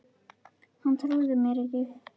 Hann trúði mér ekki